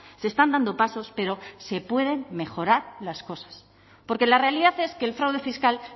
se están dando pasos pero se pueden mejorar las cosas porque la realidad es que el fraude fiscal